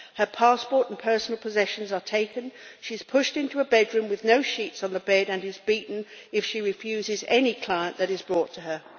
Her passport and personal possessions are taken, she is pushed into a bedroom with no sheets on the bed, and she is beaten if she refuses any client that is brought to her.